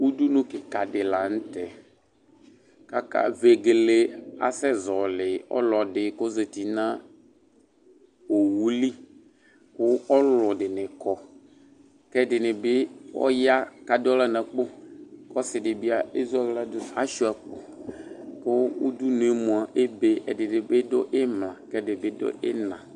Udunu kikadi la nu tɛ kaka vegele asɛ zɔli ɔlɔdi ku ɔzati nu owue li ku ɔlɔdini kɔ kɛdini bi ɔya ku adu aɣla nu akpo ku ɔsidibi ku ashua akpo ku udunu mua ebe ku ɛdibi du imla ku ɛdibi du ina